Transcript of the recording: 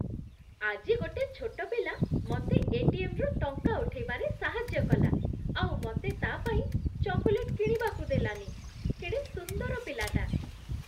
ଆଜି ଗୋଟେ ଛୋଟ ପିଲା ମତେ ଏ.ଟି.ଏମ୍. ରୁ ଟଙ୍କା ଉଠେଇବାରେ ସାହାଯ୍ୟ କଲା ଆଉ ମତେ ତା' ପାଇଁ ଚକୋଲେଟ୍ କିଣିବାକୁ ଦେଲାନି । କେଡ଼େ ସୁନ୍ଦର ପିଲାଟା!